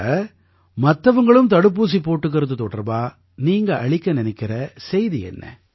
அப்ப மத்தவங்களும் தடுப்பூசி போட்டுக்கறது தொடர்பா நீங்க அளிக்க நினைக்கற செய்தி என்ன